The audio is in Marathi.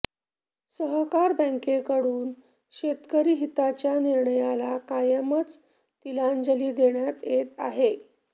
सहकार बॅंकेकडून शेतकरी हिताच्या निर्णयाला कायमच तिलांजली देण्यात येत आहे